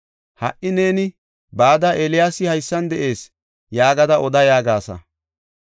Ha77i neeni, ‘Bada, Eeliyaasi haysan de7ees’ yaagada oda” yaagasa.